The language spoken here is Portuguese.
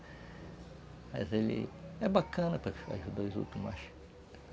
Mas ele é bacana